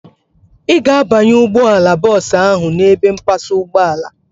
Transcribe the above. Ị ga-abanye ụgbọala bọọsu ahu n'ebe mpasa ụgbọala